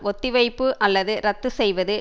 ஒத்திவைப்பு அல்லது இரத்து செய்வது